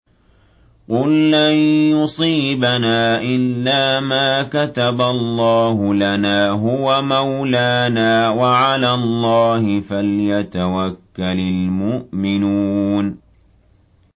قُل لَّن يُصِيبَنَا إِلَّا مَا كَتَبَ اللَّهُ لَنَا هُوَ مَوْلَانَا ۚ وَعَلَى اللَّهِ فَلْيَتَوَكَّلِ الْمُؤْمِنُونَ